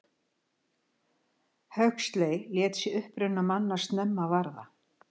Huxley lét sig uppruna manna snemma varða.